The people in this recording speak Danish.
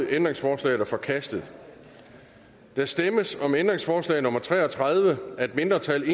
ændringsforslaget er forkastet der stemmes om ændringsforslag nummer tre og tredive af et mindretal